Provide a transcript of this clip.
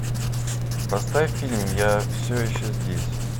поставь фильм я все еще здесь